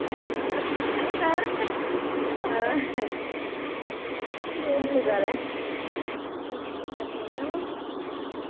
બોલ બીજું શું કરે? જીજુ શું કરે? મજામાં,